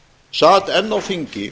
sat enn á þingi